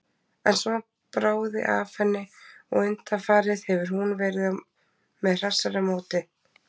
En svo bráði af henni og undanfarið hefur hún verið með hressara móti.